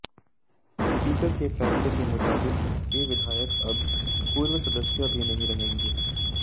speaker के फैसले के मुताबिक ये विधायक अब पूर्व सदस्य भी नहीं रहेंगे